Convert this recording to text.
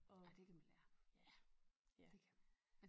Ej det kan man lære det kan man